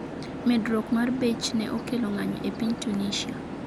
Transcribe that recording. Medruok mar bech ne okelo ng'anyo e piny Tunisia